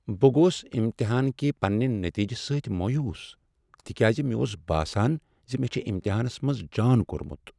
بہٕ گوس امتحان کہ پننہ نتیجہٕ سۭتۍ مایوس تکیاز مےٚ اوس باسان ز مےٚ چھ امتحانس منز جان کوٚرمت۔